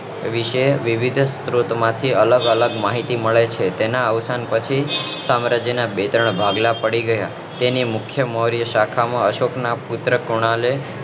વિશે વિવિધ સ્ત્રોત માંથી અલગ અલગ માહિતી મળે છે તેમના અવસાન પછી સામ્રાજ્ય ના બે ત્રણ ભાગલા પડી ગયા એની મુખ્ય મૌર્ય શાસન માં અશોક ના પુત્ર કૃણાલ એ